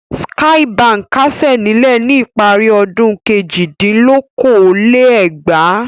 Skye Báńkì kásẹ̀ nílẹ̀ ní ìparí ọdún kejìdínlókòó-lé-ẹgbàá.